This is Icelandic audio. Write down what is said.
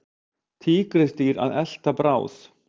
Tígrisdýr að elta bráð.